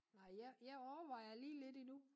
Nej jeg jeg overvejer lige lidt endnu